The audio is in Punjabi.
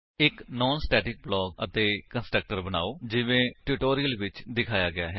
ਇੱਕ ਨਾਨ ਸਟੇਟਿਕ ਬਲਾਕ ਅਤੇ ਕੰਸਟਰਕਟਰ ਬਨਾਓ ਜਿਵੇਂ ਟਿਊਟੋਰਿਅਲ ਵਿੱਚ ਦਿਖਾਇਆ ਗਿਆ ਹੈ